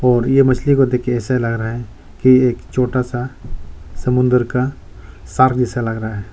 और ये मछली को देख के ऐसा लग रहा है कि एक छोटा सा समुंदर का सार्क जैसा लग रहा है।